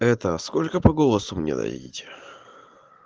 это сколько по голосу мне найдите